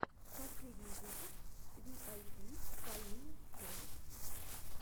последний выпуск виайпи полины холод